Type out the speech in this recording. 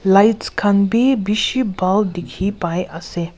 lights khan bi bishi buhal dikhi pai ase.